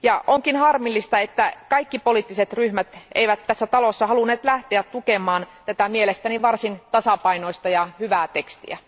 Onkin harmillista, että kaikki poliittiset ryhmät eivät tässä talossa halunneet lähteä tukemaan tätä mielestäni varsin tasapainoista ja hyvää tekstiä.